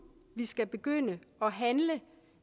vi skal begynde at handle